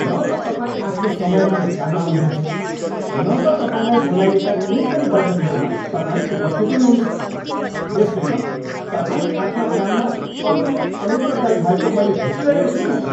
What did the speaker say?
न त तपाईँ आफ्नो समयमा नै काममा आउनु हुन्छ न त तपाईँलाई बोलाइएका कुनै पनि बैठकहरूमा तपाईँ उपस्थित हुनुहुन्छ, यसले त तपाईँ आफ्ना काममा अति नै अनुत्तरदायी भएको मैले भेटिरहेको छु नि त।